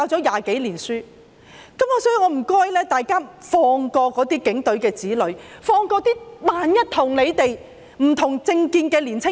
因此，我請大家放過警員的子女，放過那些與他們不同政見的年青人。